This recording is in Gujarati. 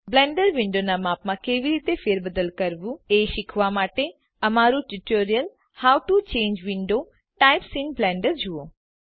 બ્લેન્ડર વિન્ડોનાં માપમાં કેવી રીતે ફેરબદલ કરવું એ શીખવાં માટે અમારું tutorial how to change window types in Blender જુઓ